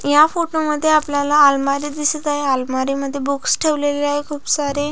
या फोटो मध्ये आपल्याला अलमारी दिसत आहे अलमारी मध्ये बुक्स ठेवलेले आहे खुप सारे --